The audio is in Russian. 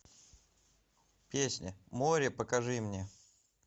песня море покажи мне